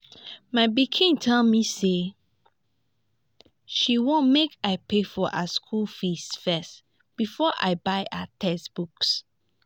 my pikin tell me say she wan make i pay for her school fees first before i buy her textbooks